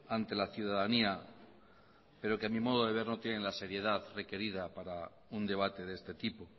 ante la ciudadanía pero que a mi modo de ver no tienen la seriedad requerida para un debate de este tipo